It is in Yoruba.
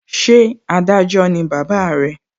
Ṣé Adájọ́ ni bàbá re?